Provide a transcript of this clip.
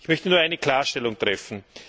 Ich möchte nur eine Klarstellung treffen.